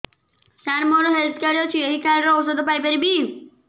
ସାର ମୋର health card ଅଛି ଏହି କାର୍ଡ ରେ ଔଷଧ ପାଇପାରିବି